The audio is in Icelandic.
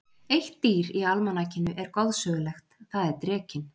Eitt dýr í almanakinu er goðsögulegt, það er drekinn.